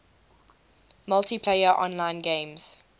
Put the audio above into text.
multiplayer online games